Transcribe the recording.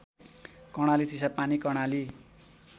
Karnali Chisapani Karnali